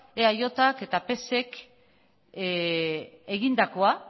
eajk eta psek egindakoa